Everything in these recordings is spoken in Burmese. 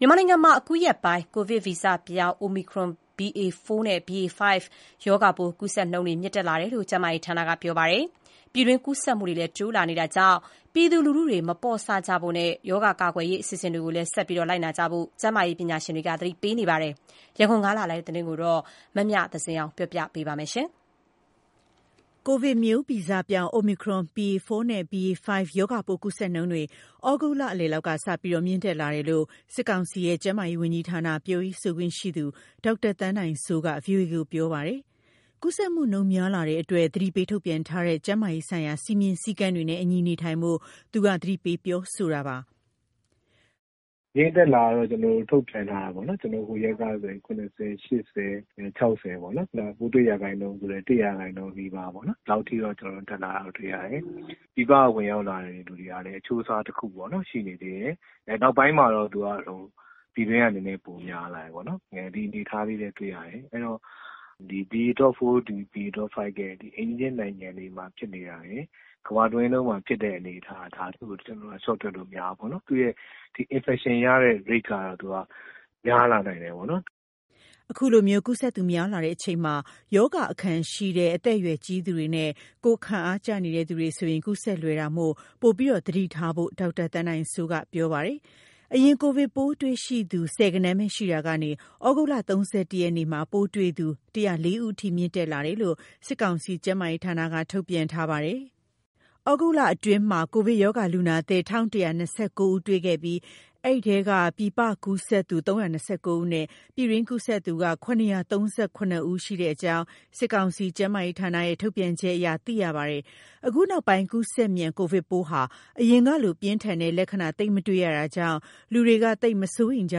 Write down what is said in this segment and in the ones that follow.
မြန်မာနိုင်ငံမှာ အခုရက်ပိုင်း ကိုဗစ်ဗီဇပြောင်း Omicron BA.4 နဲ့ BA.5 ကိုဗစ်ရော ဂါပိုး ကူးစက်နှုန်းတွေ မြင့်တက်လာတယ်လို့ ကျန်းမာရေးဌာက ပြောပါတယ်။ ပြည်တွင်းကူးစက်မှုတွေလည်း တိုးလာနေတာကြောင့် ပြည်သူလူထုတွေ မပေါ့ဆ ဖို့နဲ့ ရောဂါကာကွယ်ရေး အစီအစဉ်တွေကိုလည်း ဆက်လက်လိုက်နာဖို့ ကျန်းမာရေးပညာရှင်တွေ သတိပေးနေပါတယ်။ ရန်ကုန်ကလာတဲ့သတင်းကို မမြသဇင်အောင်က တင်ပြပေးထားပါတယ်။ ကိုဗစ်ဗီဇပြောင်း Omicron BA.4 နဲ့ BA.5 ကိုဗစ်ရောဂါပိုး ကူးစက်နှုန်းတွေ သြဂုတ် လလယ်လောက်ကစပြီး မြင့်တက်လာတယ်လို့ စစ်ကောင်စီရဲ့ ကျန်းမာရေးဝန်ကြီးဌာန ပြောရေးဆိုခွင့်ရှိသူ ဒေါက်တာသန်းနိုင်စိုးက VOA ကို ပြောပါတယ်။ ကူးစက်မှုနှုန်း များလာတဲ့အတွက် သတိပေးထုတ်ပြန်ထားတဲ့ ကျန်းမာရေးဆိုင်ရာ စည်းမျဉ်းစည်းကမ်းတွေနဲ့အညီ နေထိုင်ဖို့ သူက သတိပေးပြောဆိုတာပါ။ “ မြင့်တက်လာတယ်လို့ ထုတ်ပြန်ထားတယ်ပေါ့နော်။ ဟိုရက်ကဆိုရင် ၇၀၊ ၈၀၊ ၆၀ ပေါ့နော်- ပိုးတွေ့တဲ့ရာခိုင်နှုန်းဆိုလည်း ၁ ရာခိုင်နှုန်းနီးပါးပေါ့နော်၊ ဒီလောက် အထိ တက်လာတာတွေ့ရတယ်။ ပြည်ပကဝင်ရောက်လာတဲ့သူကလည်း အချိုးအစားတခုပေါ့နော်- ရှိနေသေးတယ်။ အဲ့နောက်ပိုင်းမှာတော့ သူက ပြည်တွင်းကနည်းနည်းပိုများလာတယ်ပေါ့နော်။ ဒီအနေအထားလေးပဲတွေ့ရတယ်။ အဲ့တော့ ဒီ BA.4 BA.5 ရဲ့ အိမ်နီးချင်းနိုင်ငံတွေမှာ ဖြစ်နေတာတွေ၊ ကမ္ဘာတဝန်းလုံးမှာဖြစ်တဲ့အနေအထား၊ ဒါတခုကို ကျနော်တို့ လျှော့တွက်လို့မရဘူးပေါ့နော်။ သူ့ရဲ့ ဒီ infection ရဲ့တဲ့ risk က သူက များလာနိုင်တယ်ပေါ့နော်။” အခုလိုမျိုး ကူးစက်သူများလာနေချိန်မှာ ရောဂါအခံရှိတဲ့ အသက်အရွယ်ကြီးသူတွေနဲ့ ကိုယ်ခံအားကျနေတဲ့ သူတွေဆိုရင် ကူးစက်လွယ်တာမို့ ပိုမိုသတိထားဖို့ ဒေါက်တာသန်းနိုင်စိုးက ဆိုပါတယ်။ အရင်က ကိုဗစ် ပိုးတွေ့ရှိသူ ဆယ်ဂဏန်းပဲရှိရာကနေ သြဂုတ် ၃၁ ရက်နေ့မှာဆိုရင် ပိုးတွေ့ရှိသူ ၁၀၄ ဦးအထိ မြင့်တက်လာတာလို့ စစ်ကောင်စီရဲ့ ကျန်းမာရေးဌာနက ထုတ်ပြန်ထားပါတယ်။ သြဂုတ်လအတွင်းမှာ ကိုဗစ်ရောဂါ လူနာသစ် ၁,၁၂၉ ဦးတွေ့ ရှိခဲ့ပြီး အဲဒီထဲက ပြည်ပ ကူးစက်သူ ၃၂၉ ဦးနဲ့ ပြည်တွင်းကူးစက်သူက ၇၃၇ ဦးအထိ ရှိနေကြောင်း စစ်ကောင်စီရဲ့ ကျန်းမာရေးဌာနရဲ့ ထုတ်ပြန်ချက်အရ သိရပါတယ်။ အခု နောက်ပိုင်း ကူးစက်မြန် ကိုဗစ်ပိုးဟာ အရင်ကလို ပြင်းထန်တဲ့လက္ခဏာ သိပ်မတွေ့ရတာကြောင့် လူတွေက သိပ်မစိုးရိမ်ကြ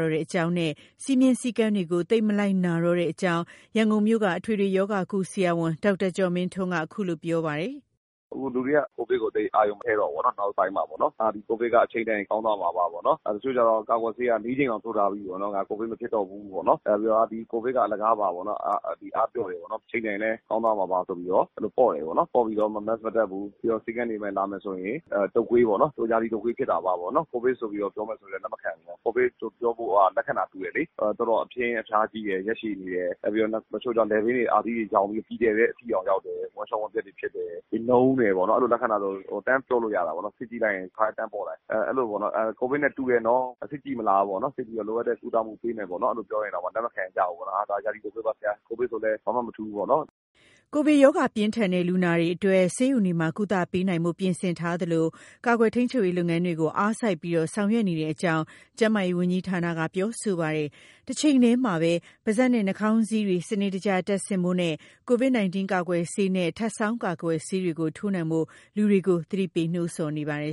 တော့တဲ့အကြောင်းနဲ့ စည်းမျဉ်းစည်းကမ်းတွေကို သိပ်မလိုက်နာကြတော့တဲ့အကြောင်း ရန်ကုန်မြို့က အထွေထွေရောဂါကု ဆရာဝန် ဒေါက်တာကျော်မင်းထွန်း အခုလို ပြောပါတယ်။ “အခုလူတွေက ကိုဗစ်ကိုသိပ်အာရုံမထည့်တော့ဘူးပေါ့နော်။ နောက်ပိုင်းမှာပေါ့နော်။ ဟာ…ကိုဗစ်က အချိန်တန်ရင် ကောင်းသွားမှာပါပေါ့နော်၊ တချို့ကျတော့ ကာကွယ်ဆေးက ၄ ကြိမ်တောင် ထိုးထားပြီးပေ့ါနော်၊ ငါ ကိုဗစ်မဖြစ်တော့ဘူးပေ့ါနော်။ နောက်ပြီးတော့ ကိုဗစ်က အလကာပါပေ့ါနော်၊ အားပျော့တယ်ပေါ့နော်၊ အချိန်တန်ရင်လည်း ကောင်းသွားမှာပါဆိုပြီးတော့ အဲ့လိုပေါ့တယ်ပေါ့နော်။ ပေါ့ပြီးတော့ Mask မတပ်ဘူး။ ပြီးတော့ ဆေးခန်းတွေ လာမယ်ရင် အာ…တုပ်ကွေးပေါ့နော်၊ သူရာသီတုပ်ကွေးဖြစ်တာပါပေါ့နော်။ ကိုဗစ်ဆိုပြီးတော့ ပြောမယ်ဆိုလည်း လက်မခံဘူး။ ကိုဗစ်ဆိုပြောဖို့က လက္ခဏာတူတယ်လေ။ တော်တော်အပြင်းအဖျားကြီးတယ်၊ ရက်ရှည်တယ်။ နောက်ပြီးတော့ တချို့ကျ လည်ပင်းတွေ၊အာသီးတွေယောင်ပြီး အကြီးအကျယ်ပဲ ဝမ်းလျော်ဝမ်းပျက်တွေဖြစ်တယ်။ နုန်းတယ်ပေါ့နော်။ အဲ့လိုလက္ခဏာဆို တန်းပြောလို့ရတာပေါ့နော်။ စစ်ကြည့်လိုက်ရင် တခါတည်း တန်းပေါ်လာ၊ အဲ့လိုပေါ့နော် ကိုဗစ်နဲ့ တူတယ်နော်၊ စစ်ကြည့်မလားပေါ့နော်။ စစ်ကြည့်ပြီး လိုအပ်တဲ့ကုသမှုပေးမယ်ပေါ့နော် အဲ့လိုပြောရင်တောင်မှ လက်မခံကြဘူးပေါ့နော်။ ဟာ… ဒါ ရာသီတုပ်ကွေးပါ ဆရာ၊ ကိုဗစ်ဆိုလည်း ဘာမှမထူးပေါ့နော်။” ကိုဗစ်ရောဂါ ပြင်းထန်တဲ့ လူနာတွေအတွက် ဆေးရုံတွေမှာ ကုသပေးနိုင်ဖို့ ပြင်ဆင်ထားသလို ကာကွယ်ထိန်းချုပ်ရေးလုပ်ငန်းတွေ အားစိုက်ပြီး ဆောင်ရွက်နေကြောင်း ကျန်းမာရေးဝန်ကြီးဌာနက ပြောဆိုပါတယ်။ တချိန်တည်းမှာ ပါးစပ်နဲ့ နှာခေါင်းစည်းတွေ စနစ်တကျ တပ်ဆင့်ဖို့နဲ့ ကိုဗစ် 19 ကာကွယ်ဆေးနဲ့ ထပ်ဆောင်းကာကွယ်ဆေးတွေ ထိုးနှံ့ဖို့ လူတွေကို သတိပေးနိုးဆော်နေပါတယ်